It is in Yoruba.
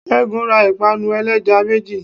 segun ra ipanú eleja mejí